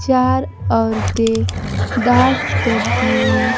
चार औरतें डांस करती हुई--